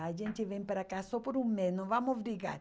A gente vem para cá só por um mês, não vamos brigar.